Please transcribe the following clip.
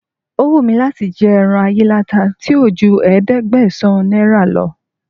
O wù mí láti jẹ ẹran ayíláta tí ò ju ẹ̀ẹ́dẹ́gbẹ̀sán náírà lọ